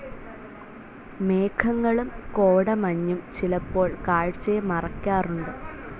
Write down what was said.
മേഘങ്ങളും കോടമഞ്ഞും ചിലപ്പോൾ കാഴ്ചയെ മറക്കാറുണ്ട്.